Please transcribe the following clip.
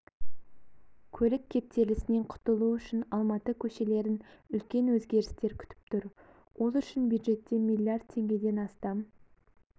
көлік кептелісінен құтылу үшін алматы көшелерін үлкен өзгерістер күтіп тұр ол үшін бюджеттен миллиард теңгеден астам